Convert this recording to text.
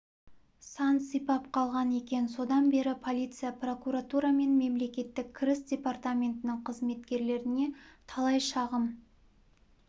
сан сипап қалған екен содан бері полиция прокуратура мен мемлекеттік кіріс департаментінің қызметкерлеріне талай шағым